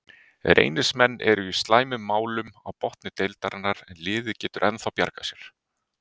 Reynismenn eru í slæmum málum á botni deildarinnar en liðið getur ennþá bjargað sér.